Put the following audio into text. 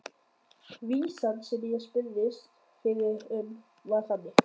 Vísan sem ég spurðist fyrir um var þannig: